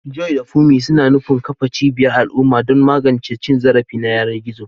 Joy da Funmi suna nufin kafa cibiyar al'umma don magance cin zarafi ta yanar gizo.